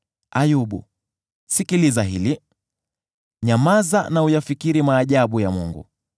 “Ayubu, sikiliza hili; nyamaza na uyafikiri maajabu ya Mungu.